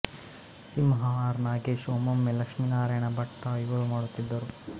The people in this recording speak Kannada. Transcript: ಸಿಂಹ ಆರ್ ನಾಗೇಶ್ ಒಮ್ಮೊಮ್ಮೊ ಲಕ್ಷ್ಮೀನಾರಾಯಣ ಭಟ್ಟ ಅವರೂ ಮಾಡುತ್ತಿದ್ದರು